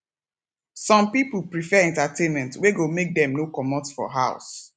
some pipo prefer entertainment wey go make dem no comot for house